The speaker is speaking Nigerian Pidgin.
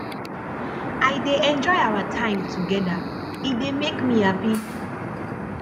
i dey enjoy our time together e dey make me happy